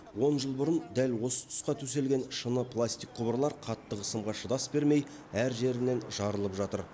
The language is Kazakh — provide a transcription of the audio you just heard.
он жыл бұрын дәл осы тұсқа төселген шыны пластик құбырлар қатты қысымға шыдас бермей әр жерінен жарылып жатыр